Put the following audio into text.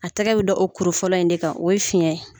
A tɛgɛ bi da o kurufɔlɔ in de kan, o ye fiɲɛ ye